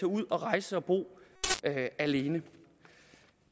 ud og rejse og bo alene